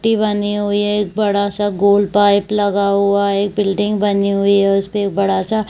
T बनी हुई है एक बड़ा सा गोल पाइप लगा हुआ है एक बिल्डिंग बनी हुई है उसपे एक बड़ा सा--